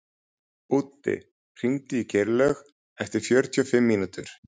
Úddi, hringdu í Geirlaug eftir fjörutíu og fimm mínútur.